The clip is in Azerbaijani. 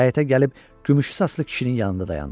Həyətə gəlib gümüşü saçlı kişinin yanında dayandı.